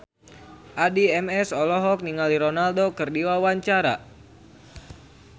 Addie MS olohok ningali Ronaldo keur diwawancara